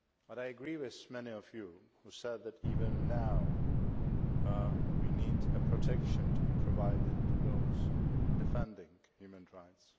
I agree with many of you who said that even now we need protection to be provided to those defending human rights.